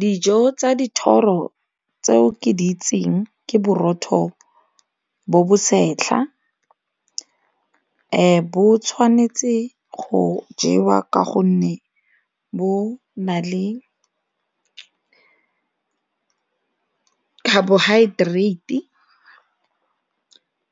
Dijo tsa dithoro tseo ke di itseng ke borotho bo bosetlha bo tshwanetse go jewa ka gonne bo na le carbohydrate